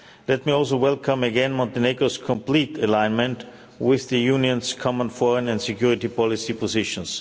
Let me also welcome again Montenegro's complete alignment with the Union's common foreign and security policy positions.